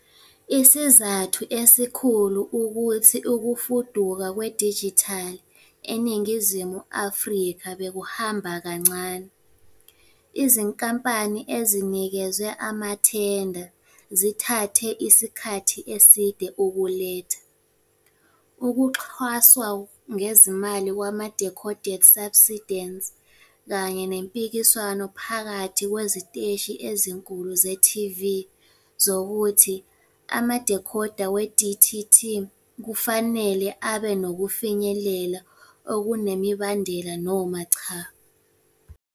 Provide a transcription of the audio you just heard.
Isizathu esikhulu ukuthi ukufuduka kwedijithali eNingizimu Afrika bekuhamba kancane- Izinkampani ezinikezwe amathenda zithathe isikhathi eside ukuletha, ukuxhaswa ngezimali kwama-decoded subsidans, kanye nempikiswano phakathi kweziteshi ezinkulu ze-TV zokuthi ama-decoder we-DTT kufanele abe nokufinyelela okunemibandela noma cha.